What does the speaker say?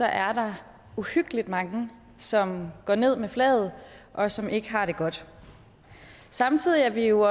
er der uhyggelig mange som går ned med flaget og som ikke har det godt samtidig er vi jo